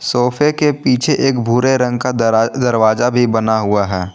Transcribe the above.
सोफे के पीछे एक भूरे रंग का दरा दरवाजा भी बना हुआ है।